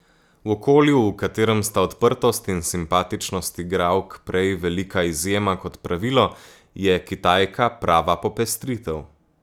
V okolju, v katerem sta odprtost in simpatičnost igralk prej velika izjema kot pravilo, je Kitajka prava popestritev.